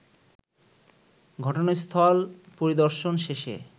ঘটনাস্থল পরিদর্শন শেষে